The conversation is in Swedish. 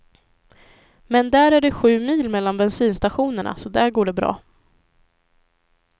Men där är det sju mil mellan bensinstationerna, så där går det bra.